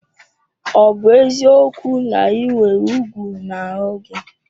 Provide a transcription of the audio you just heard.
Ọ bụ eziokwu na ị nwere ugwu n'ahụ gị?